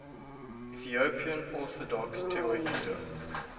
ethiopian orthodox tewahedo